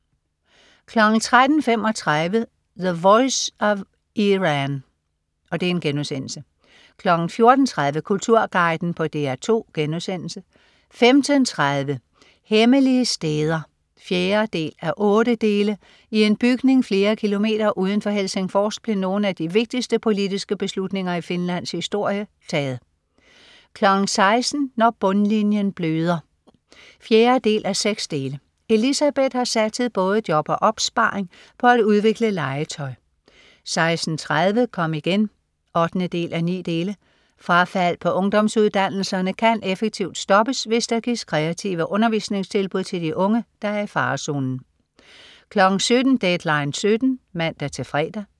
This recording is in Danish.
13.35 The voice of Iran* 14.30 Kulturguiden på DR2* 15.30 Hemmelige steder 4:8. I en bygning flere kilometer uden for Helsingfors blev nogle af de vigtigste politiske beslutninger i Finlands historie taget 16.00 Når bundlinjen bløder 4:6. Elisabeth har satset både job og opsparing på at udvikle legetøj 16.30 Kom igen 8:9. Frafald på ungdomsuddannelserne kan effektivt stoppes, hvis der gives kreative undervisningstilbud til de unge, der er i farezonen 17.00 Deadline 17.00 (man-fre)